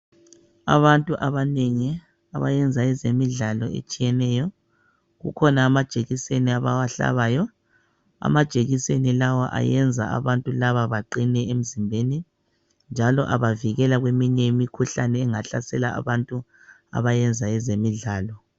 Abantu abanengi abayenza ezemidlalo etshiyeneyo. Kukhona amajekiseni abawahlabayo. Amajekiseni lawa ayenza abantu laba baqine emzimbeni. Njalo abavikala kweminye imikhuhlane engabahlasela abantu abayenza ezemidlalo .